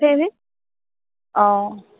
আহ